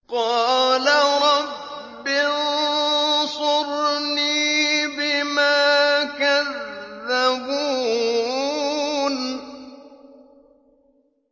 قَالَ رَبِّ انصُرْنِي بِمَا كَذَّبُونِ